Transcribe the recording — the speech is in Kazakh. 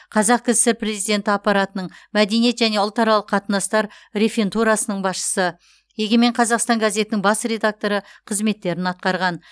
қазақ кср президенті аппаратының мәдениет және ұлтаралық қатынастар реферантурасының басшысы егемен қазақстан газетінің бас редакторы қызметтерін атқарған